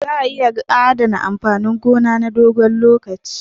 Za a iya adana amfanin gona na dogon lokaci